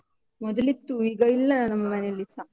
ಮೊದಲಿತ್ತು ಈಗ ಇಲ್ಲ ನಮ್ಮನೇಲಿಸ.